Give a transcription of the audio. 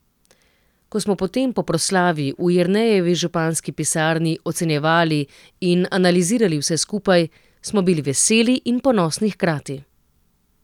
Ko smo potem, po proslavi, v Jernejevi županski pisarni ocenjevali in analizirali vse skupaj, smo bili veseli in ponosni hkrati.